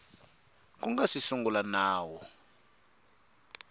ku nga si sungula nawu